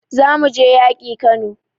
Za mu je yaƙi Kano